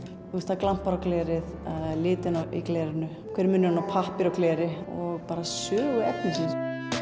það glampar á glerið litina í glerinu hver er munurinn á pappír og gleri og bara sögu efnisins